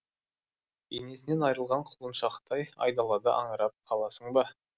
енесінен айрылған құлыншақтай айдалада аңырап қаласың ба